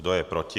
Kdo je proti?